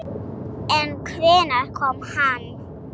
En hvenær kom hann?